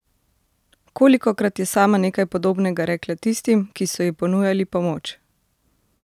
Kolikokrat je sama nekaj podobnega rekla tistim, ki so ji ponujali pomoč?